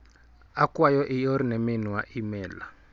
Akwayo ior ne minwa imel.